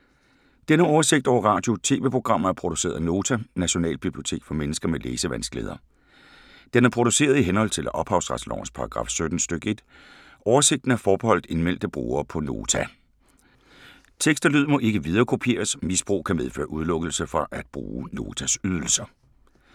Denne oversigt over radio og TV-programmer er produceret af Nota, Nationalbibliotek for mennesker med læsevanskeligheder. Den er produceret i henhold til ophavsretslovens paragraf 17 stk. 1. Oversigten er forbeholdt indmeldte brugere på Nota. Tekst og lyd må ikke viderekopieres. Misbrug kan medføre udelukkelse fra at bruge Notas ydelser.